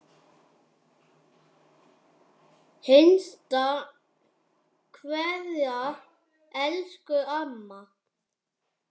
HINSTA KVEÐA Elsku amma.